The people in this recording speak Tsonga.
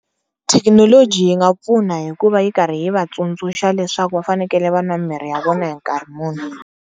Thekinoloji yi nga pfuna hikuva yi karhi yi va tsundzuxa leswaku va fanekele va nwa mimirhi ya vona hi nkarhi muni.